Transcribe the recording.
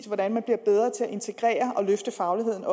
hvordan man bliver bedre til også at integrere og løfte fagligheden